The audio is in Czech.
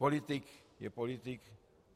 Politik je politik.